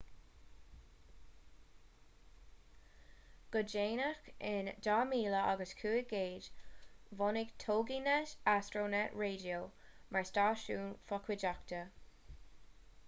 go déanach in 2015 bhunaigh toginet astronet radio mar stáisiún fochuideachta